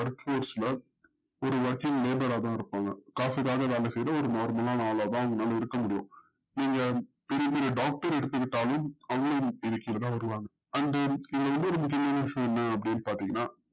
work is not working இருப்பாங்க காசுக்காக வேல செய்ற ஒரு மோசமான ஆளத்தான் நம்பளால இருக்க முடியும் நீங்க பெரிய பெரி doctor எடுத்துகிட்டாலும் அவங்களும் இந்த side தா வருவாங்க வந்து இதுல இன்னொரு முக்கியமான விஷயம் என்னான்னு பதிங்கனா